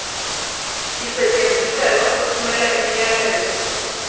isetyenziselwa ukuthumela imiyalezo